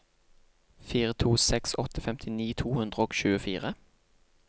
fire to seks åtte femtini to hundre og tjuefire